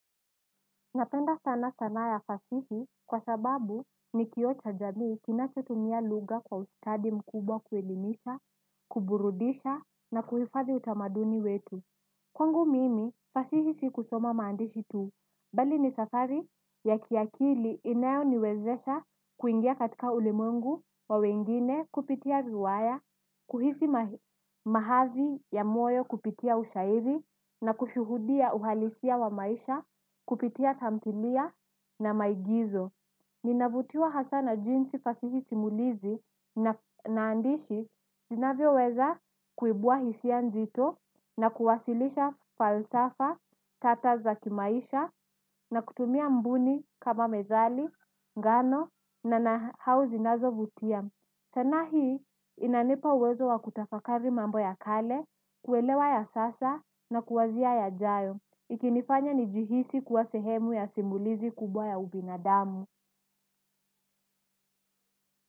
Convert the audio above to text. Napenda sana sanaa ya fasihi kwa sababu ni kioo cha jamii kinachotumia lugha kwa ustadi mkubwa kuelimisha, kuburudisha na kuhifadhi utamaduni wetu. Kwangu mimi, fasihisi kusoma maandishi tu, bali ni safari ya kiakili inayo niwezesha kuingia katika ulimwengu wa wengine kupitia riwaya, kuhisi mahavi ya moyo kupitia ushairi na kushuhudia uhalisia wa maisha, kupitia tamthilia na maigizo. Ninavutiwa hasa na jinsi fasihi simulizi naandishi zinavyo weza kuibua hisia nzito na kuwasilisha falsafa tata za kimaisha na kutumia mbuni kama medhali, ngano na nahau zinazovutia. Sanaa hii inanipa uwezo wa kutafakari mambo ya kale, kuelewa ya sasa na kuwazia yajayo. Ikinifanya nijihisi kuwa sehemu ya simulizi kubwa ya ubinadamu.